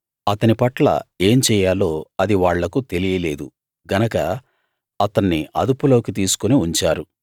అతని పట్ల ఏం చెయ్యాలో అది వాళ్లకు తెలియ లేదు గనక అతన్ని అదుపులోకి తీసుకుని ఉంచారు